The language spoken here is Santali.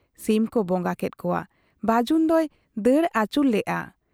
ᱥᱤᱢ ᱠᱚ ᱵᱚᱸᱜᱟ ᱠᱮᱜ ᱠᱚᱣᱟ ᱾ ᱵᱟᱹᱡᱩᱱ ᱫᱚᱭ ᱫᱟᱹᱲ ᱟᱹᱪᱩᱨ ᱞᱮᱜ ᱟ ᱾